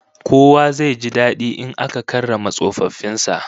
Kowa zai ji dadi in aka karrama tsofaffin sa